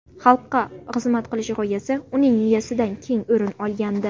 Xalqqa xizmat qilish g‘oyasi uning miyasidan keng o‘rin olgandi.